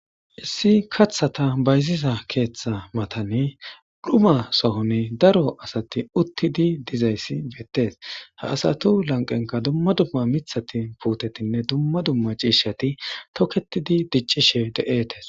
Issi kathata bayziza keeththa matani dhuma sohone daro asati uttidi dizayssi beettees ha asatu lanqenka dumma dumma mithati puutetinne dumma dumma ciishati toketidi diccishe de7eetes.